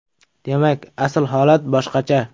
Demak, asl holat boshqacha.